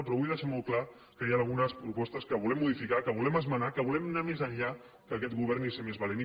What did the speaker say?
però vull deixar molt clar que hi han algunes propostes que volem modificar que volem esmenar que volem anar més enllà que aquest govern i ser més valents